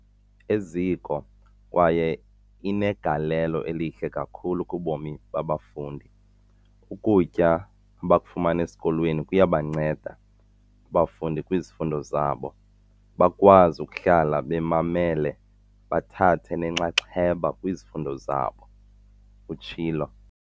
"eziko kwaye inegalelo elihle kakhulu kubomi babafundi. Ukutya abakufumana esikolweni kuyabanceda abafundi kwizifundo zabo, bakwazi ukuhlala bemamele bethatha nenxaxheba kwizifundo zabo," utshilo.